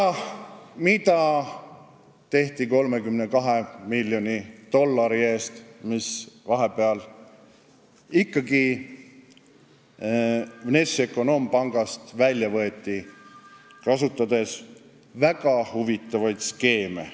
– ja mida tehti 32 miljoni dollari eest, mis vahepeal ikkagi Vnešekonombankist välja võeti, kasutades väga huvitavaid skeeme.